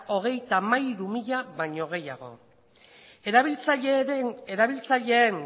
hogeita hamairu mila baino gehiago erabiltzaileen